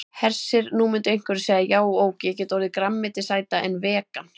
Hersir: Nú myndu einhverjir segja já ok, ég get orðið grænmetisæta en vegan?